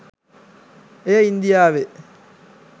එය ඉන්දියාවේ